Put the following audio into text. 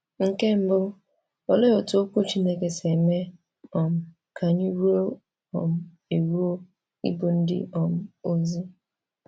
Nke mbụ, olee otú Okwu Chineke si eme um ka anyị ruo um eruo ịbụ ndị um ozi?